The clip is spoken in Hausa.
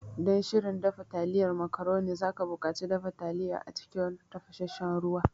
Don shirin dafa taliyan macaroni, za ka buƙaci dafa taliya a cikin tafasassen ruwa.